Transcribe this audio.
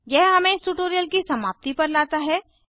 यह हमें इस ट्यूटोरियल की समाप्ति पर लाता है